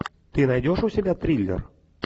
ты найдешь у себя триллер